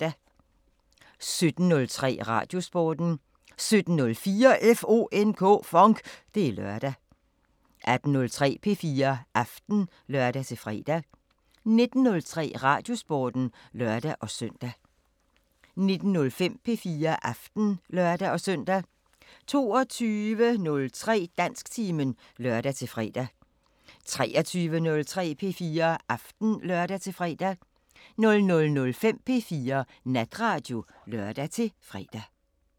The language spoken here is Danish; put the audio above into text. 17:03: Radiosporten 17:04: FONK! Det er lørdag 18:03: P4 Aften (lør-fre) 19:03: Radiosporten (lør-søn) 19:05: P4 Aften (lør-søn) 22:03: Dansktimen (lør-fre) 23:03: P4 Aften (lør-fre) 00:05: P4 Natradio (lør-fre)